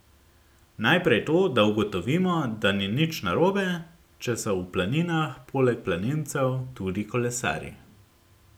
Najprej to, da ugotovimo, da ni nič narobe, če so v planinah poleg planincev tudi kolesarji.